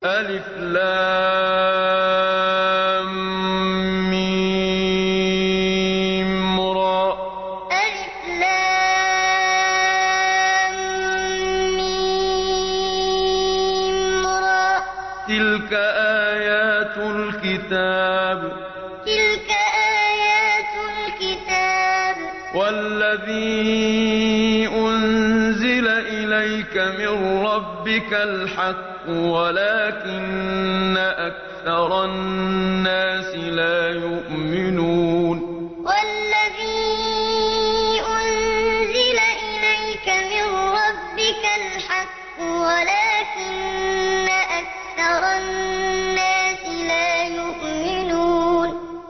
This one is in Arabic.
المر ۚ تِلْكَ آيَاتُ الْكِتَابِ ۗ وَالَّذِي أُنزِلَ إِلَيْكَ مِن رَّبِّكَ الْحَقُّ وَلَٰكِنَّ أَكْثَرَ النَّاسِ لَا يُؤْمِنُونَ المر ۚ تِلْكَ آيَاتُ الْكِتَابِ ۗ وَالَّذِي أُنزِلَ إِلَيْكَ مِن رَّبِّكَ الْحَقُّ وَلَٰكِنَّ أَكْثَرَ النَّاسِ لَا يُؤْمِنُونَ